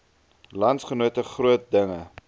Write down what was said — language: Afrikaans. landsgenote groot dinge